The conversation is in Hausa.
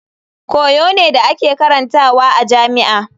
Koyo ne da ake karantawa a jami'a.